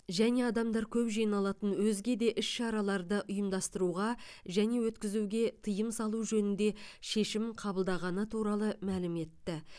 және адамдар көп жиналатын өзге де іс шараларды ұйымдастыруға және өткізуге тыйым салу жөнінде шешім қабылданғаны туралы мәлім етті